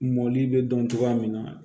Mɔli bɛ dɔn cogoya min na